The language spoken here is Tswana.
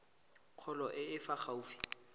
kgolo e e fa gaufi